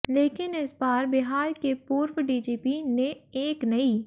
लेकिन इस बार बिहार के पूर्व डीजीपी ने एक नई